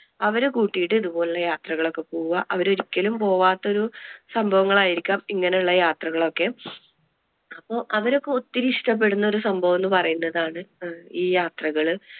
അവരെ കൂട്ടിട്ട് ഇതുപോലുള്ള യാത്രകൾ ഒക്കെ പോവുക. അവർ ഒരിക്കലും പോവാത്ത ഒരു സംഭവങ്ങൾ ആയിരിക്കാം ഇങ്ങനെ ഉള്ള യാത്രകൾ ഒക്കെ. അപ്പൊ അവരൊക്കെ ഒത്തിരി ഇഷ്ടപെടുന്ന ഒരു സംഭവം എന്ന് പറയുന്നതാണ് ഈ യാത്രകള്.